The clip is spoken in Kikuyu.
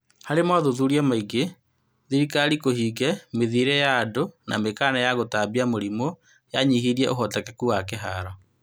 Harĩ mothuthuria maingĩ, thirikari kũhinge mithiĩre ya andũ na mĩkana ya gũtambia mũrimũ yanyihirie ũhotekeku wa kĩharo.